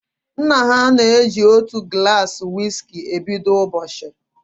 Nna ha na eji otu gulasi wiski e bido ụbọchị